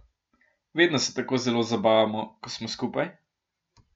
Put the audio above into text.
Vedno se tako zelo zabavamo, ko smo skupaj ...